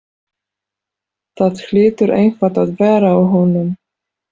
Það hlýtur eitthvað að vera að honum.